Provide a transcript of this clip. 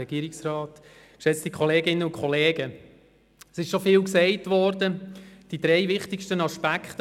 Es ist schon viel gesagt worden, vor allem die drei wichtigsten Aspekte.